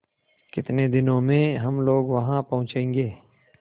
कितने दिनों में हम लोग वहाँ पहुँचेंगे